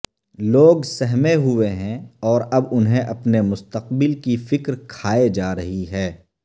لوگ سہمے ہوئے ہیں اور اب انہیں اپنے مستقبل کی فکر کھائے جا رہی ہے